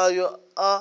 ayo a